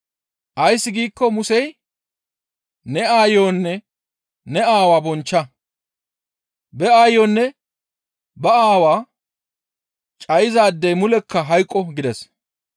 Ays giikko Musey, ‹Ne aayonne ne aawaa bonchcha; ba aayonne ba aawaa cayizaadey mulekka hayqqo› gides.